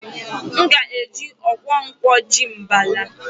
M ga-eji okwọ kwọ ji mbala.